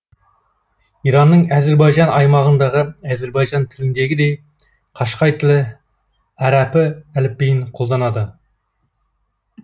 иранның әзірбайжан аймағындағы әзірбайжан тіліндегідей қашқай тілі әрәпы әліпбиін қолданады